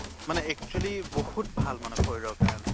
মানে actually বহুত ভাল মানে শৰীৰ কাৰণে